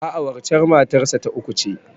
A'a, waccen matar sa ta uku ce.